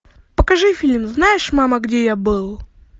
покажи фильм знаешь мама где я был